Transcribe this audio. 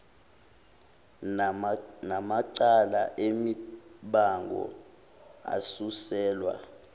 namacala emibango asuselwa